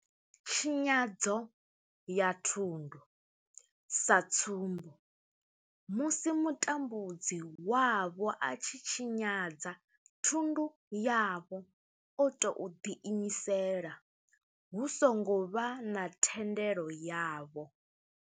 Tshinyadzo ya thundu, sa tsumbo, musi mutambudzi wavho a tshi tshinyadza thundu yavho o tou ḓiimisela hu songo vha na thendelo yavho.